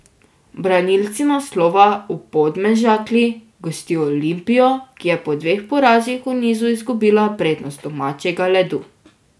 Branilci naslova v Podmežakli gostijo Olimpijo, ki je po dveh porazih v nizu izgubila prednost domačega ledu.